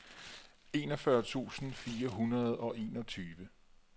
enogfyrre tusind fire hundrede og enogtyve